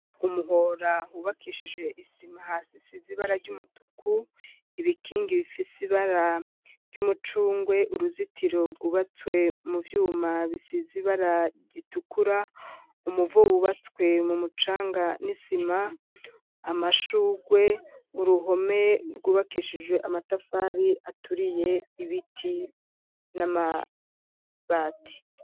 Umuhora hubakeshije isima hasi hasi hasize ibara ry'umutuku ibikingi bifise ibara ry'umucungwe uruzitiro rwubatswe mu vyuma bisize ibara ritukura umuvo wubatswe mu mucanga n'isima, amashugwe uruhome rwubakishije amatafari aturiye ibiti n'amabati.